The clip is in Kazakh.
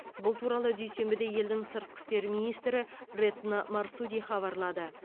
бұл туралы дүйсенбіде елдің сыртқы істер министрі ретно марсуди хабарлады